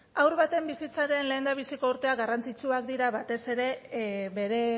haur baten bizitzaren lehendabiziko urteak garrantzitsuak dira batez ere bere